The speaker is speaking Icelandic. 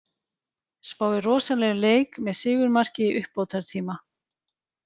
Spái rosalegum leik með sigurmarki í uppbótartíma.